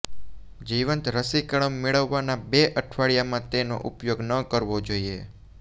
જીવંત રસીકરણ મેળવવાના બે અઠવાડિયામાં તેનો ઉપયોગ ન કરવો જોઇએ